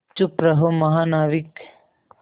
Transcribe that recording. चुप रहो महानाविक